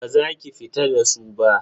Baza ki fita da su ba.